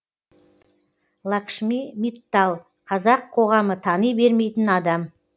лакшми миттал қазақ қоғамы тани бермейтін адам